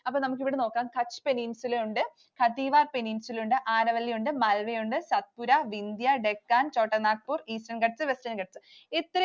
അപ്പൊ നമുക്ക് ഇവിടെ നോക്കാം. Kutch Peninsula യുണ്ട്, Kathiawar Peninsula യുണ്ട്, Aravalli ഉണ്ട്, Malwa യുണ്ട്, Satpura, Vindhya, Deccan, Chotanagpur, Eastern Ghats, Western Ghats. ഇത്രയും